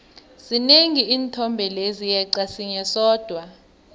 zinengi iinthombe lezi yeqa sinye sodwa